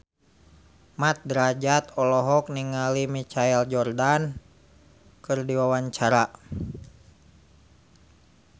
Mat Drajat olohok ningali Michael Jordan keur diwawancara